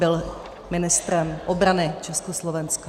Byl ministrem obrany Československa.